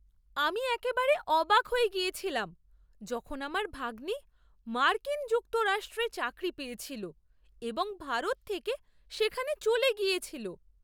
আমি একেবারে অবাক হয়ে গিয়েছিলাম যখন আমার ভাগ্নি মার্কিন যুক্তরাষ্ট্রে চাকরি পেয়েছিল এবং ভারত থেকে সেখানে চলে গিয়েছিল।